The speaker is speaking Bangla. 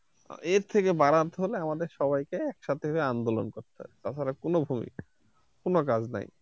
এর থেকে বারাতে হলে আমাদের সবাইকে একসাথে যেয়ে আন্দোলন করতে হবে তাছাড়া কোনো ভূমিকা কোন কাজ নাই।